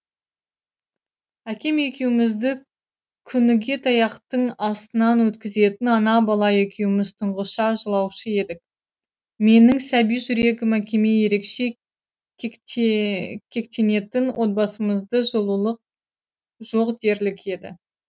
әкем екеуімізді күніге таяқтың астынан өткізетін ана бала екеуіміз тұншыға жылаушы едік менің сәби жүрегім әкеме ерекше кектенетін отбасымызды жылулық жоқ дерлік еді